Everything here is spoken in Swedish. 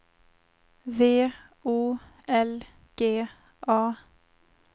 V O L G A